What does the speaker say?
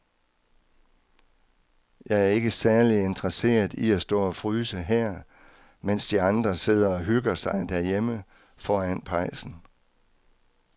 Jeg er ikke særlig interesseret i at stå og fryse her, mens de andre sidder og hygger sig derhjemme foran pejsen.